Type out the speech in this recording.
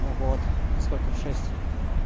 ну вот во сколько в шесть